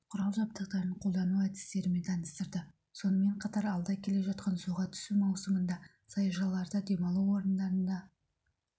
құрал-жабдықтарын қолдану әдістерімен таныстырды сонымен қатар алда келе жатқан суға түсу маусымында саяжайларда демалу орындарында